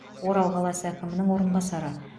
орал қаласы әкімінің орынбасары